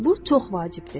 Bu çox vacibdir.